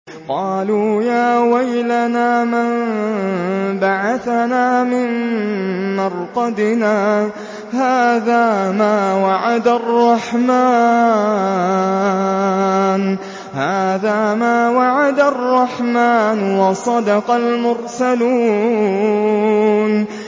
قَالُوا يَا وَيْلَنَا مَن بَعَثَنَا مِن مَّرْقَدِنَا ۜۗ هَٰذَا مَا وَعَدَ الرَّحْمَٰنُ وَصَدَقَ الْمُرْسَلُونَ